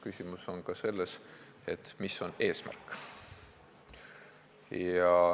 Küsimus on ka selles, mis on eesmärk.